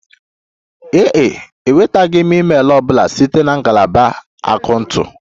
Ee e, enwetaghị m email ọ bụla site na ngalaba akaụntụ